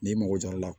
N'i mago jɔra a la